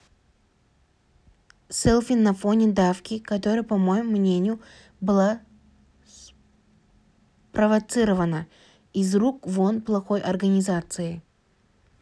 селфи на фоне давки которая по моему мнению была спровоцирована из рук вон плохой организацией